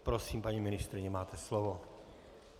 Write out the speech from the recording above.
Prosím, paní ministryně, máte slovo.